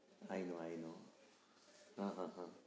I know I know હં હં હં